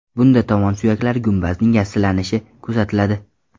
Bunda tovon suyaklari gumbazining yassilanishi kuzatiladi.